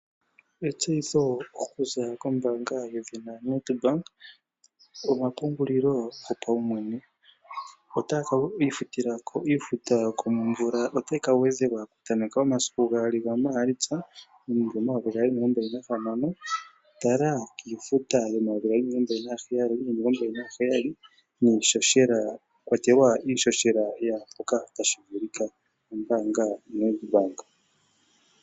Etseyitho okuza kombaanga yethina Nedbank Omapungulilo gopaumwene. Iifuta yokomvula otayi ka gwedhelwa okutameka mu2 gaMaalitsa 2026. Tala iifuta yomayovi gaali nomilongombali naheyali, mwa kwatelwa iihohela yaa mpoka tashi vulika. Ombaanga yaNedbank.